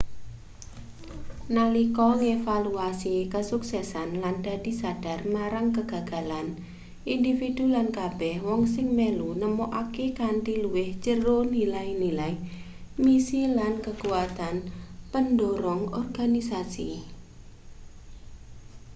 nalika ngevaluasi kesuksesan lan dadi sadhar marang kegagalan individu lan kabeh wong sing melu nemokake kanthi luwih jero nilai-nilai misi lan kekuatan pendhorong organisasi